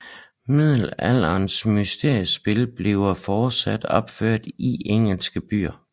Middelalderen mysteriespil bliver fortsat opført i engelske byer